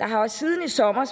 der har jo siden i sommer